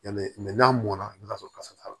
Yanni n'a mɔna i bɛ t'a sɔrɔ kasa t'a la